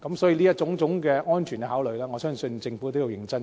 所以，基於種種安全考慮，我相信政府也要認真研究。